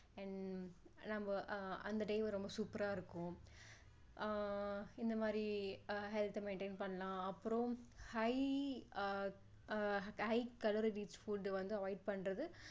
and நம்மஅ~அந்த day வ ரொம்ப super ரா இருக்கும் ஆஹ் இந்த மாதிரி health maintain பண்ணலாம் அப்பறம் high ஆஹ் அஹ் high calorie rich food உ வந்து avoid பண்றது